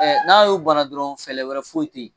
N'a y'u bana dɔrɔn fɛɛrɛ wɛrɛ foyi tɛ yen